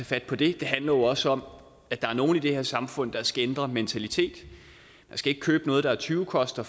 fat på det det handler også om at der er nogle i det her samfund der skal ændre mentalitet man skal ikke købe noget der er tyvekoster